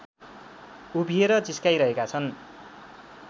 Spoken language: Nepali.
उभिएर जिस्काइरहेका छन्